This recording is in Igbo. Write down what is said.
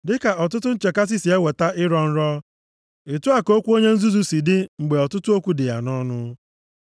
Dị ka ọtụtụ nchekasị si eweta ị rọọ nrọ, otu a ka okwu onye nzuzu si dị mgbe ọtụtụ okwu dị ya nʼọnụ.